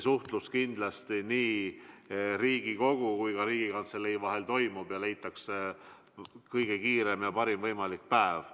Suhtlus Riigikogu ja Riigikantselei vahel toimub ja leitakse kõige esimene võimalik päev.